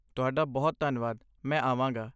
ਤੁਹਾਡਾ ਬਹੁਤ ਧੰਨਵਾਦ, ਮੈਂ ਆਵਾਂਗਾ!